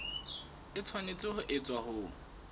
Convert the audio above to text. e tshwanetse ho etswa ho